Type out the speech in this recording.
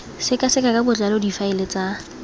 sekaseka ka botlalo difaele tsa